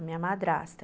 A minha madrasta.